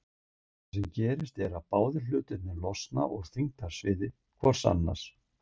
Það sem gerist er að báðir hlutarnir losna úr þyngdarsviði hvor annars.